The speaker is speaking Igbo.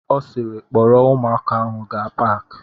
Ọ siiri, kpọrọ ụmụaka ahụ gaa paki!